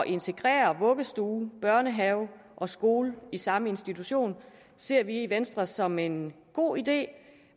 integrere vuggestue børnehave og skole i samme institution ser vi i venstre som en god idé